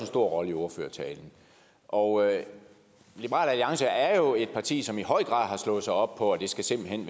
stor rolle i ordførertalen og liberal alliance er jo et parti som i høj grad har slået sig op på at det simpelt hen